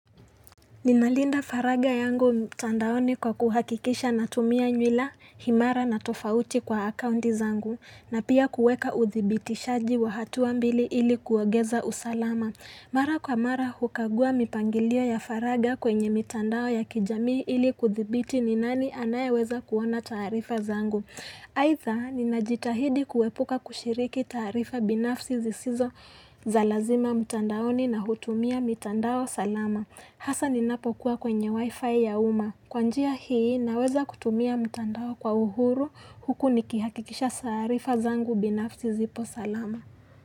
Ninalinda faragha yangu mtandaoni kwa kuhakikisha natumia nywila imara na tofauti kwa akaunti zangu, na pia kuweka uthibitishaji wa hatua mbili ili kuongeza usalama. Mara kwa mara hukagua mipangilio ya faragha kwenye mitandao ya kijamii ili kuthibiti ni nani anayeweza kuona taarifa zangu. Aidha, ninajitahidi kuepuka kushiriki taarifa binafsi zisizo za lazima mtandaoni na hutumia mitandao salama. Hasa ninapokuwa kwenye wifi ya umma. Kwa njia hii naweza kutumia mtandao kwa uhuru huku nikihakikisha taarifa zangu binafsi zipo salama.